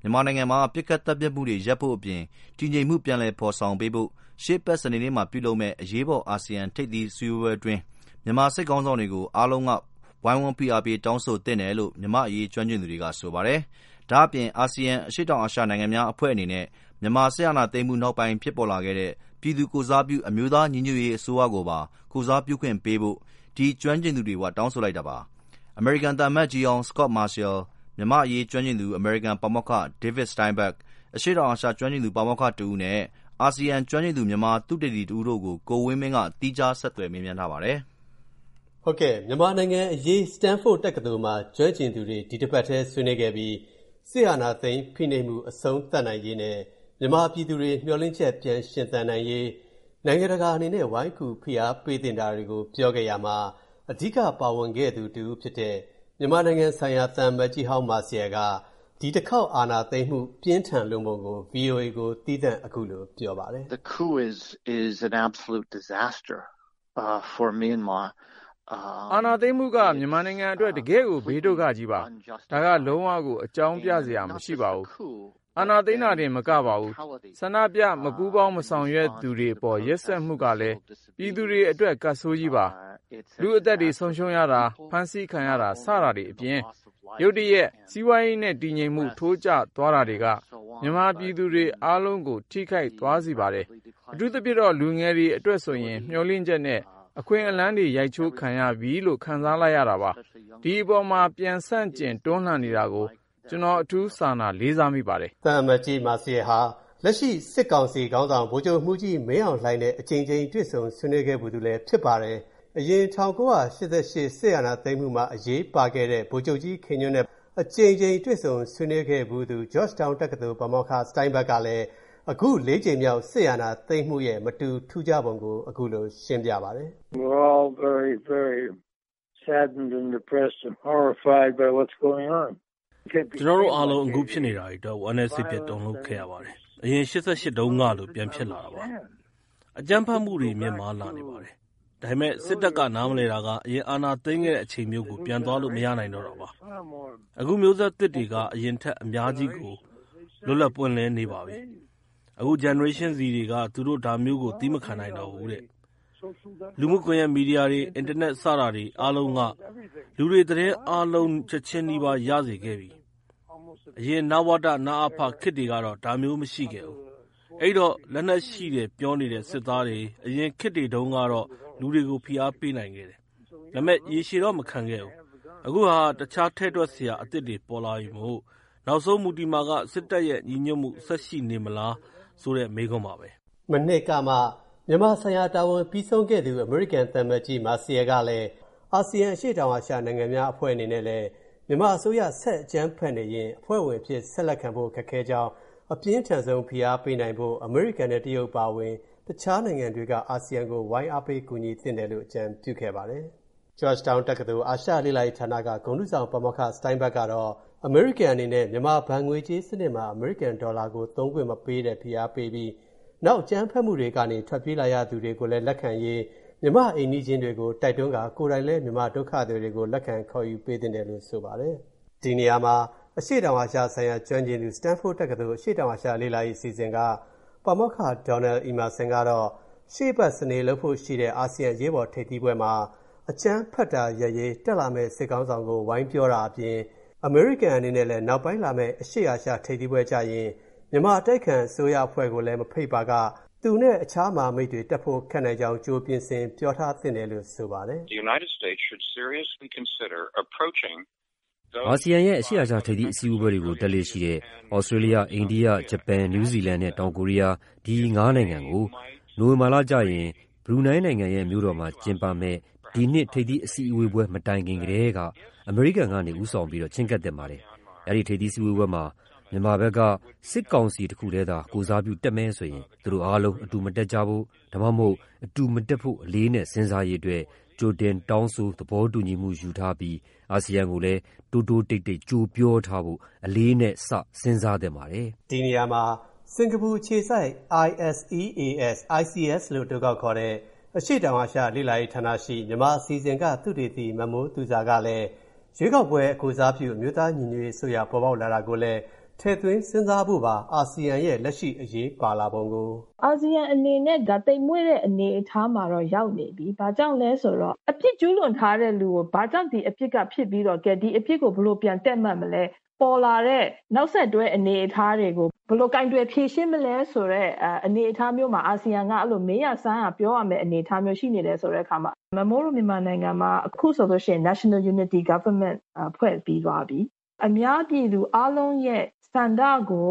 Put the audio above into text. မြန်မာနိုင်ငံမှာ ပစ်ခတ်သတ်ဖြတ်မူတွေရပ်ဖို့အပြင်၊ တည်ငြိမ်မူပြန်ဖော်ဆောင်ပေးဖို့၊ မြန်မာစစ်ခေါင်းဆောင်ကိုရှေ့အပတ်စနေနေ့မှာလုပ်မယ့် အရေးပေါ်အာဆီယံထိပ်သီးအစည်းအဝေးပွဲအတွင်း အားလုံးကဝိုင်းဖိအားပေးတောင်းဆိုသင့်တယ်လို့၊ မြန်မာ့အရေးကျွမ်းကျင်သူတွေက ဆိုပါတယ်။ ဒါ့အပြင်၊ ဒီအာဆီယံအရှေတောင်အာရှနိုင်ငံများအဖွဲ့အနေနဲ့၊ မြန်မာစစ်အာဏာသိမ်းမူနောက်ပိုင်းဖြစ်ပေါ်လာခဲ့တဲ့၊ ပြည်သူကိုယ်စားပြု အမျိုးသားညီညွှတ်ရေးအစိုးရကိုပါ ကိုယ်စားပြုခွင့်ပေးဖို့၊ ဒီကျွမ်းကျင်သူတွေကတောင်းဆိုလိုက်ပါတယ်။ အမေရိကန်သံအမတ်ကြီးဟောင်း Scot Marciel ၊ မြန်မာ့အရေးကျွမ်းကျင်သူ အမေရိကန်ပါမောက္ခ David Steinberg ၊ အရှေ.တောင်အာရှကျွမ်းကျင်သူပါမောက္ခတစ်ဦးနဲ့ အာဆီယံကျွမ်းကျင်သူ မြန်မာသုတေသီတစ်ဦးတို့ကို ကိုဝင်းမင်းက သီးခြားဆက်သွယ်မေးမြန်းထားပါတယ်။ မြန်မာနိုင်ငံအရေး Stanford တက္ကသိုလ်မှာ ကျွမ်းကျင်သူတွေ ဒီအပတ်ထဲဆွေးနွေးခဲ့ပြီး၊ စစ်အာဏာသိမ်းဖိနှိပ်မူအဆုံးသတ်နိုင်ရေးနဲ့ မြန်မာပြည်သူတွေမျှော်လင့်ချက်ပြန်ရှင်သန်နိုင်ရေး၊ နိုင်ငံတကာအနေနဲ့ ဝိုင်းကူဖိအားပေးသင့်တာတွေကို ပြောခဲ့ကြရာမှာ၊ အဓိက ပါဝင်ခဲ့သူတစ်ဦးဖြစ်တဲ့၊ မြန်မာနိုင်ငံဆိုင်ရာသံအမတ်ကြီးဟောင်း Marciel က ဒီတစ်ခေါက်အာဏာသိမ်းမူပြင်းထန်လွန်းပုံကို၊ VOA ကို သီးသန့် အခုလို ပြောပါတယ်။ “အာဏာသိမ်းမူက မြန်မာနိုင်ငံအတွက် တကယ့်ကို ဘေးဒုက္ခကြီးပါ။ ဒါက လုံးဝကို အကြောင်းပြစရာ မရှိပါဘူး။ အာဏာသိမ်းတာတင်မကပါဘူး၊ ဆန္ဒပြ၊ မပူးပေါင်းမဆောင်ရွက်သူတွေအပေါ် ရက်စက်မူကလည်း၊ ပြည်သူတွေအတွက် ကပ်ဆိုးကြီးပါ။ လူ့အသက်တွေဆုံးရှုံးရတာ၊ ဖမ်းဆီးခံရတာ စတာတွေအပြင်၊ ရုတ်တရက် စီးပွားရေးနဲ့ တည်ငြိမ်မူထိုးကျသွားတာတွေက၊ မြန်မာပြည်သူတွေ အားလုံးကိုထိခိုက်သွားစေပါတယ်။ အထူးသဖြင့်တော့ လူငယ်တွေအတွက်ဆိုရင်၊ မျှော်လင့်ချက်နဲ့ အခွင့်အလမ်းတွေ ရိုက်ချိုးခံလိုက်ရပြီလို့ ခံစားလိုက်ရတာပါ၊ ဒီအပေါ် ပြန်ဆန့်ကျင်တွန်းလှန်နေတာကို ကျွန်တော် အထူး စာနာ၊ လေးစားမိပါတယ်။” သံအမတ်ကြီး Marciel ဟာ လက်ရှိစစ်ကောင်စီခေါင်းဆောင် ဗိုလ်ချုပ်မူကြီး မင်းအောင်လှိုင်နဲ့ အကြိမ်ကြိမ်တွေ့ဆုံဆွေးနွေးခဲ့ဖူးသူလည်းဖြစ်ပါတယ်။ အရင် ၁၉၈၈ ခုနှစ် စစ်အာဏာသိမ်းမူမှာအရေးပါခဲ့တဲ့ ဗိုလ်ချုပ်ကြီး ခင်ညွှန့်တို့နဲ့လည်း အကြိမ်ကြိမ်တွေ့ဆုံဆွေးနွေးခဲ့ဖူးသူ၊ Georgetown တက္ကသိုလ် ပါမောက္ခ Steinberg ကလည်း၊ အခု ၄ ကြိမ်မြောက်စစ်အာဏာသိမ်းမူရဲ့ မတူထူးခြားပုံကို အခုလိုရှင်းပြပါတယ်။ “ကျွန်တော်တို့အားလုံး အခုဖြစ်နေတာတွေအတွက် ဝမ်းနည်း စိတ်ပျက် တုန်လူပ်ခဲ့ရပါတယ်။ အရင် ၈၈ တုန်းကလို ပြန်ဖြစ်လာတာပါ။ အကြမ်းဖက်မူတွေမြင့်မားလာနေပါတယ်။ ဒါပေမဲ့ စစ်တပ်ကနားမလည်တာက၊ အရင်အာဏာသိမ်းခဲ့တဲ့အချိန်မျိုးကို ပြန်သွားလို့မရနိုင်တာ့တာပါ။ အခုမျိုးဆက်သစ်တွေက အရင်ထက် အများကြီးကို လွတ်လပ်ပွင့်လင်းနေပါပြီ။ အခု Generation Z တွေက၊ သူတို့ဒါမျိးကို သည်းမခံနိုင်တော့ဘူးတဲ့။လူမူမီဒီယာကွန်ယက်တွေ၊ အင်တာနက် စတာတွေ အားလုံးက၊ လူတွေ သတင်းအားလုံး ချက်ချင်းနီးပါးရစေခဲ့ပြီ။ အရင် နဝတ၊ နအဖ ခေတ်တွေကတော့ ဒါမျိုးမရှိခဲ့ဘူး။ အဲဒိတော့၊ လက်နက်ရှိတယ်ပြောနေတဲ့စစ်သားတွေ၊ အရင်ခေတ်တွေတုန်းကတော့ လူတွေကို ဖိအားပေးနိုင်ခဲ့တယ်၊ ဒါပေမဲ့ ရေရှည်တော့မခံခဲ့ဘူး။ အခုဟာက၊ တခြားထည့်တွက်စရာအသစ်တွေပေါ်လာပြီမို့၊ နောက်ဆုံးမူတည်မှာက၊ စစ်တပ်ရဲ့ ညီညွတ်မူဆက်ရှိနေမလားဆိုတဲ့ မေးခွန်းပါပဲ။” မနှစ်ကမှ မြန်မာဆိုင်ရာတာဝန်ပြီးဆုံးခဲ့သူ အမေရိကန်သံအမတ်ကြီး Marciel ကတော့၊ အာဆီယံ အရှေတောင်အာရှနိုင်ငံများအဖွဲ့အနေနဲ့လည်း၊ မြန်မာအစိုးရ ဆက်အကြမ်းဖက်နေရင်၊ အဖွဲ့ဝင်အဖြစ်ဆက်လက်ခံဖို့ ခက်ခဲကြောင်း၊ အပြင်းထန်ဆုံးဖိအားပေးနိုင်ဖို့၊ အမေရိကန်နဲ့ တရုတ်အပါအဝင် တခြားနိုင်ငံတွေက၊ အာဆီယံကို ဝိုင်းအားပေးကူညီသင့်တယ်လို့ အကြံပြုခဲ့ပါတယ်။ Georgetown တက္ကသိုလ် အာရှလေ့လာရေးဌာနက ဂုဏ်ထူးဆောင် ပါမောက္ခ Steinberg ကတော့၊ အမေရိကန်အနေနဲ့ မြန်မာဘဏ်ငွေးကြေးစနစ်မှာ အမေရိကန်ဒေါ်လာကို သုံးခွင့်မပေးတဲ့ ဖိအားပေးပြီး၊ နောက် အကြမ်းဖက်မူတွေကနေထွက်ပြေးလာရသူတွေလက်ခံရေးလည်း မြန်မာ့အိမ်နီးချင်းတွေကိုတိုက်တွန်းကာ၊ ကိုယ်တိုင်လဲ မြန်မာဒုက္ခသည်တွေကို လက်ခံခေါ်ယူပေးသင့်တယ်လို့ ဆိုပါတယ်။ ဒီနေရာမှာ၊ အရှေ.တောင်အာရှဆိုင်ရာ ကျွမ်းကျင်သူ Stanford တက္ကသိုလ် အရှေတောင်အာရှလေ့လာရေးအစီအစဉ်က ပါမောက္ခ Donald Emmerson ကတော့၊ ရှေ.အပတ်စနေလုပ်ဖို့ရှိတဲ့ အာဆီယံအရေးပေါ်ထိပ်သီးပွဲမှာ၊ အကြမ်းဖက်တာရပ်ရေး တက်လာမဲ့ စစ်ခေါင်းဆောင်ကို အမေရိကန်အနေနဲ့လည်း၊ နောက်ပိုင်းလာမဲ့ အရှေ.အာရှထိပ်သီးပွဲကျရင်၊ မြန်မာအတိုက်ခံအစိုးရအဖွဲ့ကိုလည်းမဖိတ်ပါက၊ သူ့နဲ့အခြားမဟာမိတ်တွေတက်ဖို့ခက်နိုင်ကြောင်း ကြိုပြင်ဆင် ပြောထားသင့်တယ်လို့ ဆိုပါတယ်။ “အာဆီယံရဲ့ အရှေ.အာရှထိပ်သီးပွဲတွေကို တက်လေ့ရှိတဲ့ သြစတျေးလျ၊ အိန္ဒိယ၊ ဂျပန်၊ နယူးဇီလန်နဲ့ တောင်ကိုရီးယား၊ ဒီ ၅ နိုင်ငံကို၊ နိုဝင်ဘာကျရင် ဘရူနိုင်းနိုင်ငံရဲ့ မြို.တော်မှာ ကျင်းပမဲ့ ဒီနှစ်ထိပ်သီးပွဲတိုင်ခင်ကထဲက၊ အမေရိကန်ကနေ ဦးဆောင်ပြီးတော့ချည်းကပ်သင့်ပါတယ်။ အဲ့ဒိထိပ်သီးစည်းဝေးပွဲမှာ မြန်မာဘက်က စစ်ကောင်စီတစ်ခုထဲသာ ကိုယ်စားပြုတက်မယ်ဆိုရင်၊ သူတို့အာလုံးအတူမတက်ကြဖို့၊ ဒါမှမဟုတ် အတူမတက်ဖို့ အလေးအနက်စဉ်းစားရေးအတွက်၊ ကြိုတောင်းဆိုသဘောတူညီမူယူထားပြီး၊ အာဆီယံကိုလည်း တိုးတိုးတိတ်တိတ် ကြိုပြောထားဖို့၊ အလေးအနက် စဉ်းစားသင့်ပါတယ်။” ဒီနေရာမှာ စင်္ကာပူအခြေစိုက် ISEAS လို့အတိုခေါက်ခေါ်တဲ့ အရှေတောင်အာရှလေ့လာရေးဌာနရှိ မြန်မာအစီအစဉ်က သုတေသီ မမိုးသူဇာကလည်း၊ ရွေးကောက်ပွဲကိုယ်စားပြု အမျိုးသားညီညွှတ်ရေးအစိုးရပေါ်ပေါက်လာတာကိုလည်း၊ ထည့်သွင်းစဉ်းစားဖို့ပါ အာဆီယံရဲ့ လက်ရှိအရေးပါလာပုံကို “အာဆီယံအနေနဲ့၊ ဒါ သိမ်မွေ့တဲ့အနေအထားမှာတော့ ရောက်နေပြီ။ ဘာကြောင့်လဲဆိုတော့ အပြစ်ကျူးလွန်ထားတဲ့လူကို၊ ဘာကြောင့် ဒီအဖြစ်က ဖြစ်ပြီးတော့၊ ကဲ ဒီ အပြစ်ကို ဘယ်လိုပြန်ပြီး တည့်မတ်မလဲ၊ ပေါ်လာတဲ့ နောက်ဆက်တွဲတွေကို ဘယ်လိုကိုင်တွယ်ဖြေရှင်းမလဲဆိုတဲ့ အနေအထားမျိုးမှာ၊ အာဆီယံက အဲ့လို မေးရ၊ စမ်းရ၊ ပြောရမဲ့ အနေအထားမျိုး ရှိနေတယ်ဆိုတဲ့အခါမှာ၊ မမိုးတို့ မြန်မာနိုင်ငံမှာက၊ အခုဆိုလို့ရှိရင် National Unity Government (အမျိုးသားညီညွှတ်ရေးအစိုးရ) ဖွဲ့ပြီးသွားပြီ။ အများပြည်သူအားလုံးရဲ့ ဆန္ဒကို